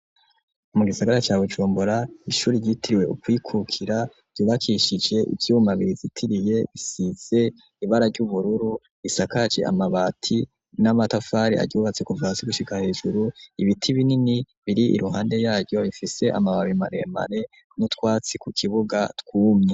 Mu gisagara ca Bujumbura ishuri ryitiriwe ukwikukira ryubakishije ivyuma birizitiriye bisize ibara ry'ubururu isakaje amabati n'amatafari aryubatse kuvasi gushika hejuru ibiti binini biri iruhande yayo ifise amababi maremare n'utwatsi ku kibuga twumye.